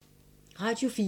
Radio 4